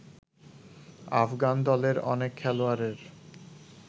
আফগান দলের অনেক খেলোয়াড়ের